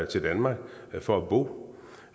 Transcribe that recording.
til danmark for at bo